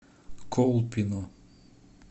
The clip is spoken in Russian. колпино